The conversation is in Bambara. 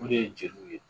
O de ye jeliw ye